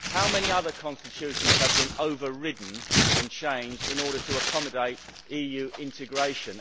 How many other constitutions have been overridden and changed in order to accommodate EU integration?